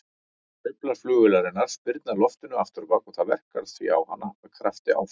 Hreyflar flugvélarinnar spyrna loftinu afturábak og það verkar því á hana með krafti áfram.